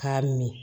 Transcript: K'a min